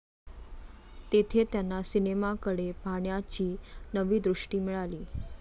तेथे त्यांना सिनेमाकडे पाहण्याची नवी दृष्टी मिळाली.